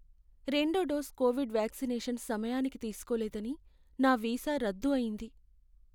రెండో dose covid vaccination సమయానికి తీసుకోలేదని నా వీసా రద్దు అయ్యింది.